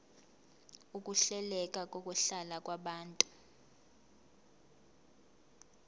ukuhleleka kokuhlala kwabantu